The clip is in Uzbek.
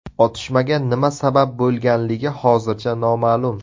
Otishmaga nima sabab bo‘lganligi hozircha noma’lum.